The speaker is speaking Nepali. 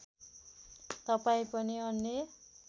तपाईँ पनि अन्य